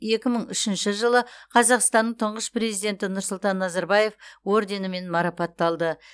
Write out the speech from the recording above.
екі мың үшінші жылы қазақстанның тұңғыш президенті нұрсұлтан назарбаев орденімен марапатталды